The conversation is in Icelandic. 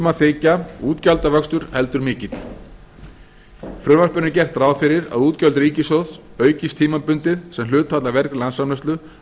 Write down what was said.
að þykja útgjaldvöxtur heldur mikill í frumvarpinu er gert ráð fyrir að útgjöld ríkissjóðs aukist tímabundið sem hlutfall af vergri landsframleiðslu